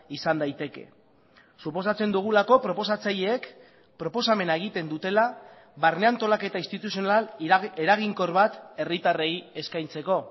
izan daiteke suposatzen dugulako proposatzaileek proposamena egiten dutela barne antolaketa instituzional eraginkor bat herritarrei eskaintzeko